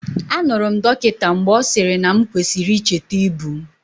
Anụrụ m dọkịta mgbe ọ sịrị na m kwesịrị icheta ibu m.